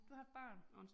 Du har et barn